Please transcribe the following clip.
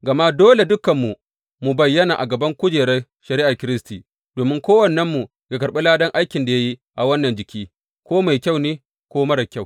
Gama dole dukanmu mu bayyana a gaban kujerar shari’ar Kiristi, domin kowannenmu yă karɓi ladan aikin da ya yi a wannan jiki, ko mai kyau ne ko marar kyau.